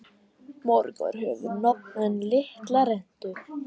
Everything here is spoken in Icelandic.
Margur hefur nafn en litla rentu.